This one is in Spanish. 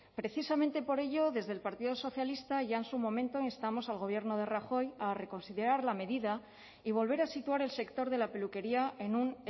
precisamente por ello desde el partido socialista ya en su momento instamos al gobierno de rajoy a reconsiderar la medida y volver a situar el sector de la peluquería en un